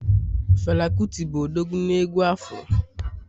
Fela kuti bụ odogwu na egwu Afro